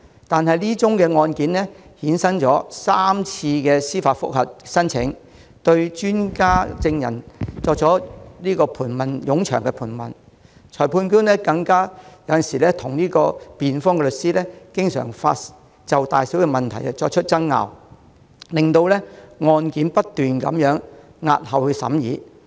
但這宗案件衍生過3次司法覆核申請，對專家證人作出冗長盤問，裁判官更與辯方律師就大小問題爭拗，令案件不斷押後審議。